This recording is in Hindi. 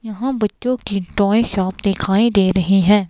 यहां बच्चों की टॉय शॉप दिखाई दे रही है.